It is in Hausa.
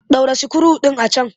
Ɗaura sikiru ɗin a can!